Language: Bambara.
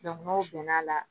n'o bɛnna a la